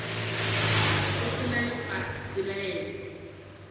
go se na le pelaelo